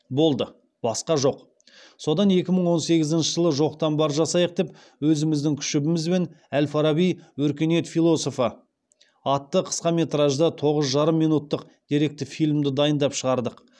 болды басқа жоқ содан екі мың он сегізінші жылы жоқтан бар жасайық деп өзіміздің күшімізбен әл фараби өркениет философы атты қысқаметражды тоғыз жарым минуттық деректі фильмді дайындап шығардық